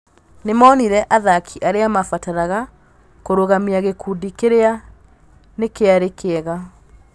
Nĩmonire athaki arĩa mabataraga kũrũgamia gĩkundi kĩrĩa nĩkĩarĩ kĩega. "